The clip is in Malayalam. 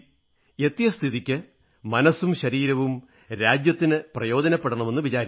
എത്തിയ സ്ഥിതിക്ക് മനസ്സും ശരീരവും രാജ്യത്തിന് പ്രയോജനപ്പെടണമെന്ന് വിചാരിക്കുന്നു